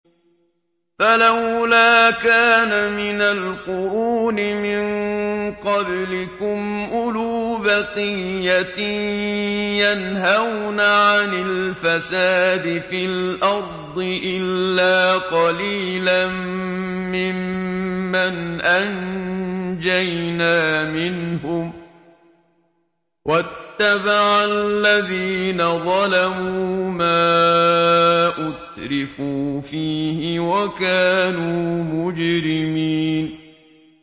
فَلَوْلَا كَانَ مِنَ الْقُرُونِ مِن قَبْلِكُمْ أُولُو بَقِيَّةٍ يَنْهَوْنَ عَنِ الْفَسَادِ فِي الْأَرْضِ إِلَّا قَلِيلًا مِّمَّنْ أَنجَيْنَا مِنْهُمْ ۗ وَاتَّبَعَ الَّذِينَ ظَلَمُوا مَا أُتْرِفُوا فِيهِ وَكَانُوا مُجْرِمِينَ